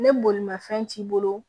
Ni bolimanfɛn t'i bolo